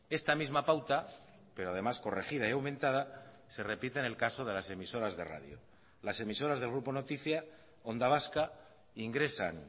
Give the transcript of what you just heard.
esta misma pauta pero además corregida y aumentada se repite en el caso de las emisoras de radio las emisoras del grupo noticia onda vasca ingresan